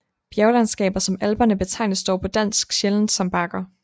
Bjerglandskaber som Alperne betegnes dog på dansk sjældent som bakker